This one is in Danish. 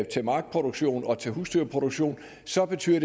til markproduktion og til husdyrproduktion så betyder at